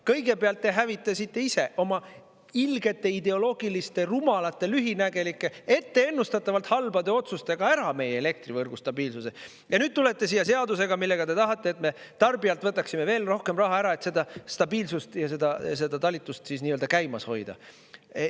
Kõigepealt te hävitasite ise oma ilgete, ideoloogiliste, rumalate, lühinägelike, etteennustatavalt halbade otsustega ära meie elektrivõrgu stabiilsuse ja nüüd tulete siia seadusega, millega te tahate, et me tarbijalt võtaksime veel rohkem raha ära, et seda stabiilsust ja seda talitust käimas hoida.